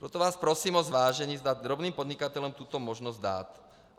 Proto vás prosím o zvážení, zda drobným podnikatelům tuto možnost dát.